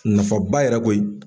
Nafaba yɛrɛ koyi.